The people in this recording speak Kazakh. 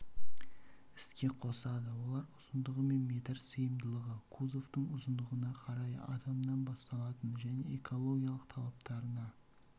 іске қосады олар ұзындығы және метр сыйымдылығы кузовтың ұзындығына қарай адамнан басталатын және экологиялық талаптарына